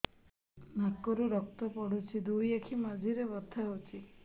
ନାକରୁ ରକ୍ତ ପଡୁଛି ଦୁଇ ଆଖି ମଝିରେ ବଥା ହଉଚି